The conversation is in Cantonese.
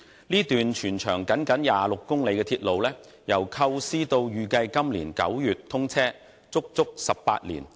這段全長僅26公里的鐵路，由構思到預計今年9月通車，足足花了18年。